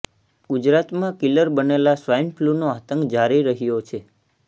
ગુજરાતમાં કિલર બનેલા સ્વાઈન ફ્લુનો આતંક જારી રહ્યો છે